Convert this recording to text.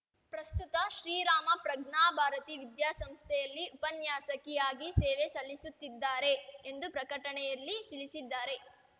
ಪ್ರಸ್ತುತ ಶ್ರೀರಾಮ ಪ್ರಜ್ಞಾ ಭಾರತಿ ವಿದ್ಯಾ ಸಂಸ್ಥೆಯಲ್ಲಿ ಉಪನ್ಯಾಸಕಿ ಆಗಿ ಸೇವೆ ಸಲ್ಲಿಸುತ್ತಿದ್ದಾರೆ ಎಂದು ಪ್ರಕಟಣೆಯಲ್ಲಿ ತಿಳಿಸಿದ್ದಾರೆ